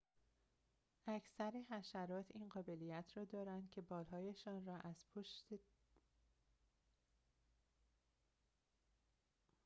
اکثر حشرات این قابلیت را دارند که بال‌هایشان را از پشت در امتداد بدنشان برگردانند